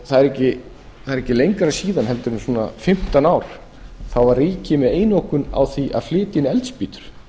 það er ekki lengra síðan en svona fimmtán ár þá var ríkið með einokun á því að flytja inn eldspýtur